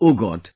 OMG